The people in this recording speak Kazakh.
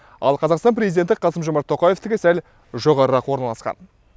ал қазақстан президенті қасым жомарт тоқаевтікі сәл жоғарырақ орналасқан